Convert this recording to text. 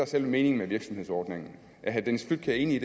selve meningen med virksomhedsordningen er herre dennis flydtkjær enig